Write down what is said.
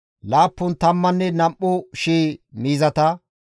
Usuppun tammanne issi shii hareta,